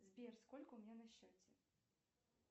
сбер сколько у меня на счете